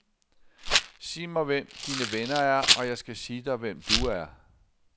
Sig mig hvem dine venner er, og jeg skal sige dig, hvem du er.